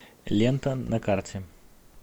лента на карте